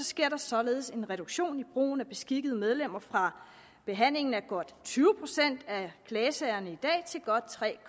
sker der således en reduktion i brugen af beskikkede medlemmer fra behandlingen af godt tyve procent af klagesagerne i dag til godt tre